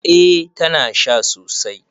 Eh tana sha sosai